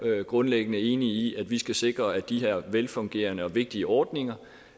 grundlæggende enig i at vi skal sikre at de her velfungerende og vigtige ordninger